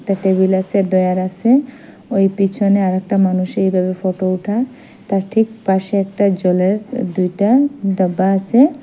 একটা টেবিল আসে ডয়ার আসে ওই পিছনে আর একটা মানুষের এইভাবে ফটো উঠা তার ঠিক পাশে একটা জলের দুইটা ডাব্বা আসে।